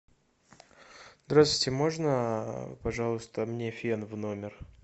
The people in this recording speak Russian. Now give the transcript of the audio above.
здравствуйте можно пожалуйста мне фен в номер